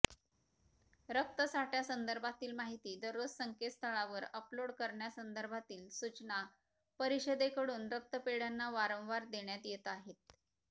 रक्तसाठ्यासंदर्भातील माहिती दररोज संकेतस्थळावर अपलोड करण्यासंदर्भातील सूचना परिषदेकडून रक्तपेढ्यांना वारंवार देण्यात येत आहेत